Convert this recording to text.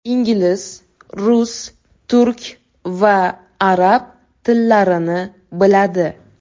Ingliz, rus, turk va arab tillarini biladi.